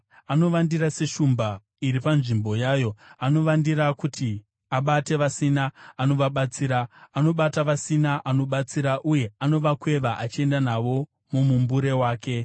Anovandira seshumba iri panzvimbo yayo; anovandira kuti abate vasina anovabatsira; anobata vasina anobatsira uye anovakweva achienda navo mumumbure wake.